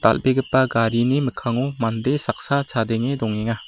dal·begipa garini mikkango mande saksa chadenge dongenga.